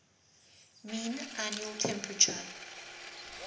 mean annual temperature